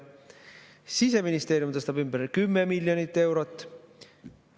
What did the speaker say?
Siseministeerium tõstab ümber 10 miljonit eurot.